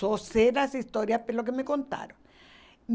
Só sei das histórias pelo que me contaram.